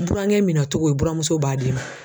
Burankɛ minɛ cogo i buramuso b'a d'i ma.